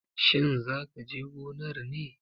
Shin za ka je gonar ne?